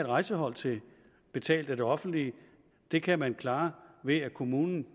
rejsehold til betalt af det offentlige det kan man klare ved at kommunen